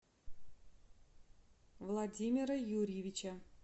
владимира юрьевича